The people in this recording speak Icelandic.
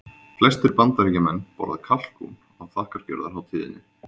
Flestir Bandaríkjamenn borða kalkún á þakkargjörðarhátíðinni.